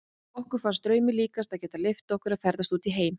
Okkur fannst draumi líkast að geta leyft okkur að ferðast út í heim.